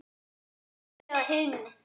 Morgun eða hinn.